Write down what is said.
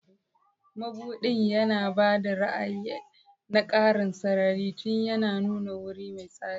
Madubin yana ba da ra'ayi na ƙarin sarari tun yana nuna wuri mai tsari.